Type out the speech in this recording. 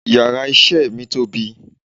Yàrá isé mi tóbi